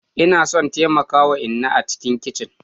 Ina son taimaka wa inna a cikin kicin.